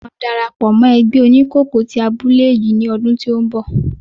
Mo máa dárapọ̀ mọ́ ẹgbẹ́ oníkòkó tí abúlé yìí ni ọdún tí ó ń bọ̀.